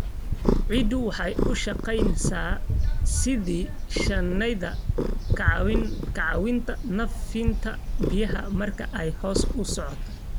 Ciiddu waxay u shaqeysaa sidii shaandheyn, ka caawinta nadiifinta biyaha marka ay hoos u socdaan.